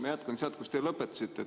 Ma jätkan sealt, kus te lõpetasite.